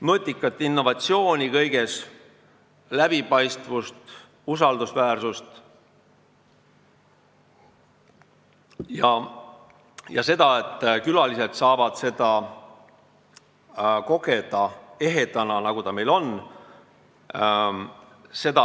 Me peaks võimaldama nutikat innovatsiooni kõiges, läbipaistvust ja usaldusväärsust ning et külalised saaksid seda kogeda ehedana, nagu see meil on.